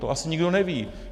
To asi nikdo neví.